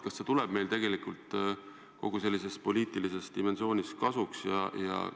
Kas see tuleb meile kogu selles poliitilises dimensioonis kasuks?